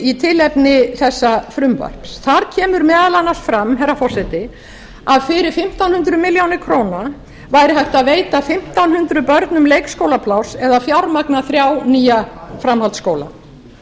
í tilefni þessa frumvarps þar kemur meðal annars fram herra forseti að fyrir fimmtán hundruð milljóna króna væri hægt að veita fimmtán hundruð beinum leikskólapláss eða fjármagna þrjá nýja framhaldsskóla